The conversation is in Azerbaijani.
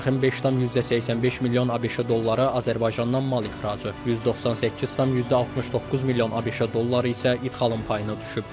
Bu məbləğin 5,85 milyon ABŞ dolları Azərbaycandan mal ixracı, 198,69 milyon ABŞ dolları isə idxalın payına düşüb.